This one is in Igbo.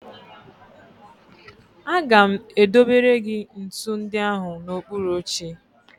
Aga m edobere gị ntụ ndị ahụ n'okpuru oche